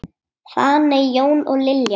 Fanney, Jón og Lilja.